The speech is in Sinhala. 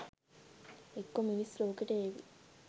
එක්කෝ මිනිස් ලෝකෙට ඒවි